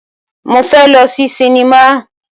Mo fẹ́ lọ sí sinimá.